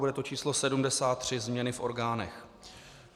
Bude to číslo 73 - změny v orgánech.